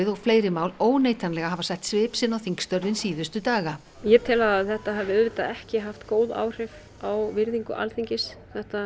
og fleiri mál óneitanlega hafa sett svip sinn á þingstörfin síðustu daga ég tel að þetta hafi auðvitað ekki haft góð áhrif á virðingu Alþingis